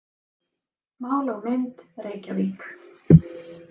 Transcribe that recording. Mál og mynd, Reykjavík.